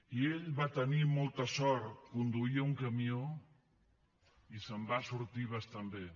i ell va tenir molta sort conduïa un camió i se’n va sortir bastant bé